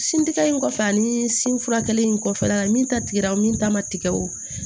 Sin tigɛ in kɔfɛ ani sin furakɛli in kɔfɛ min ta tigɛra o min ta ma tigɛ o